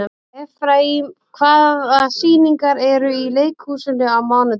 Efraím, hvaða sýningar eru í leikhúsinu á mánudaginn?